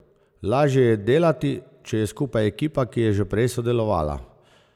Lažje je delati, če je skupaj ekipa, ki je že prej sodelovala.